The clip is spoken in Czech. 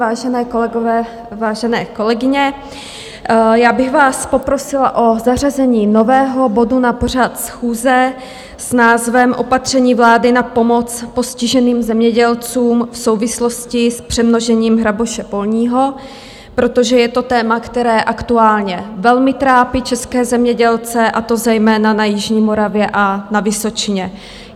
Vážení kolegové, vážené kolegyně, já bych vás poprosila o zařazení nového bodu na pořad schůze s názvem Opatření vlády na pomoc postiženým zemědělcům v souvislosti s přemnožením hraboše polního, protože je to téma, které aktuálně velmi trápí české zemědělce, a to zejména na jižní Moravě a na Vysočině.